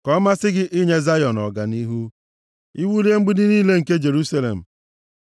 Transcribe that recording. Ka ọ masị gị inye Zayọn ọganihu; i wulie mgbidi niile nke Jerusalem.